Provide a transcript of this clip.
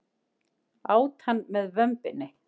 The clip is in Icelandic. Át hann með vömbinni.